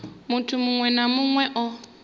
muthu muṅwe na muṅwe o